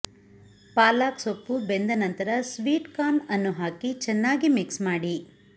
ಪಾಲಾಕ್ ಸೊಪ್ಪು ಬೆಂದ ನಂತರ ಸ್ಟೀಟ್ ಕಾರ್ನ್ ಅನ್ನು ಹಾಕಿ ಚೆನ್ನಾಗಿ ಮಿಕ್ಸ್ ಮಾಡಿ